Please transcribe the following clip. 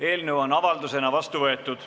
Eelnõu on avaldusena vastu võetud.